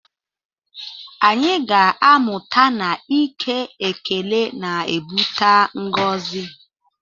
Anyị ga-amụta na ike ekele na-ebute ngọzi